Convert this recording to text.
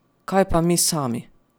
Kaj pa mi sami?